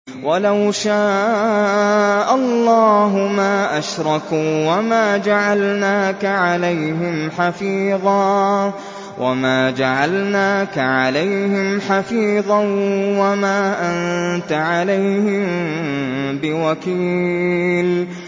وَلَوْ شَاءَ اللَّهُ مَا أَشْرَكُوا ۗ وَمَا جَعَلْنَاكَ عَلَيْهِمْ حَفِيظًا ۖ وَمَا أَنتَ عَلَيْهِم بِوَكِيلٍ